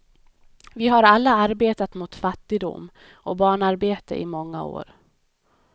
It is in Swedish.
Vi har alla arbetat mot fattigdom och barnarbete i många år.